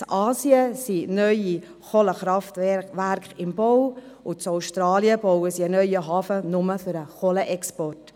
In Asien sind neue Kohlekraftwerke im Bau, und in Australien wird ein neuer Hafen gebaut, nur für den Kohlenexport.